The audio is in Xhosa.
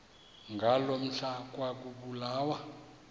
ngaloo mihla ekwakubulawa